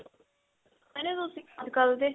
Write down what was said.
ਤੁਸੀਂ ਅੱਜਕਲ ਦੇ